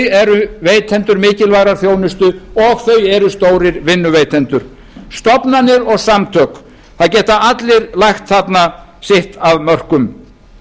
eru veitendur mikilvægrar þjónustu og þau eru stórir vinnuveitendur stofnanir og samtök það geta allir lagt þarna sitt af mörkum